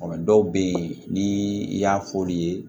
Dɔw bɛ yen ni i y'a f'olu ye